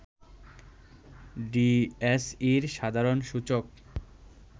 ডিএসইর সাধারণ সূচক